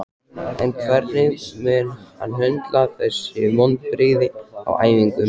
En hvernig mun hann höndla þessi vonbrigði á æfingum?